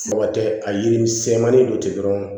Mɔgɔ tɛ a yiri sɛmani don ten dɔrɔn